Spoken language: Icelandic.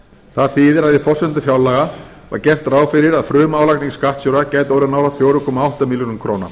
það þýðir að í forsendum fjárlaga var gert ráð fyrir að frumálagning skattstjóra gæti orðið nálægt fjögur komma átta milljörðum króna